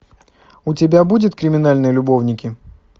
у тебя будет криминальные любовники